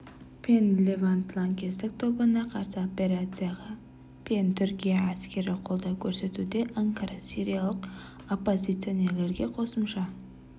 пен левант лаңкестік тобына қарсы операцияға пен түркия әскері қолдау көрсетуде анкара сириялық оппозиционерлерге қосымша